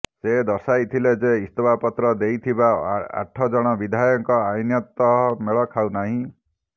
ସେ ଦର୍ଶାଇଥିଲେ ଯେ ଇସ୍ତଫା ପତ୍ର ଦେଇଥିବା ଆଠ ଜଣ ବିଧାୟକ ଆଇନତଃ ମେଳ ଖାଉ ନାହିଁ